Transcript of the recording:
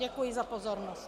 Děkuji za pozornost.